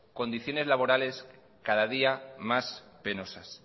condiciones laborales cada día más penosas